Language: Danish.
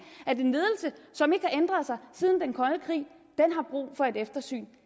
at en ledelse som ikke har ændret sig siden den kolde krig har brug for et eftersyn